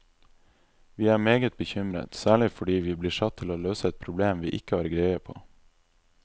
Vi er meget bekymret, særlig fordi vi blir satt til å løse et problem vi ikke har greie på.